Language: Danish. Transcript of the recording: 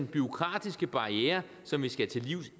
bureaukratiske barrierer som vi skal til livs